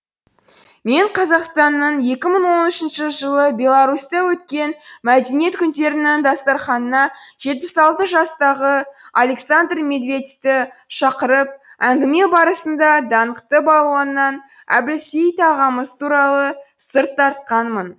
мен қазақстанның екі мың он үшінші жылы беларусьта өткен мәдениет күндерінің дастарқанына жетпіс алты жастағы александр медведьті шақырып әңгіме барысында даңқты балуаннан әбілсейіт ағамыз туралы сыр тартқанмын